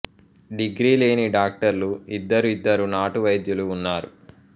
degree లేని డాక్టర్లు ఇద్దరు ఇద్దరు నాటు వైద్యులు ఉన్నారు